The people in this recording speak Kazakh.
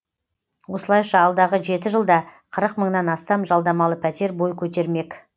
осылайша алдағы жеті жылда қырық мыңнан астам жалдамалы пәтер бой көтермек